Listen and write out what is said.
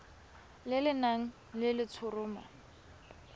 le le nang le letshoroma